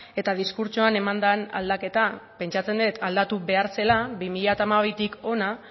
eta diskurtsoan eman den aldaketa pentsatzen dut aldatu behar zela bi mila hamabitik hona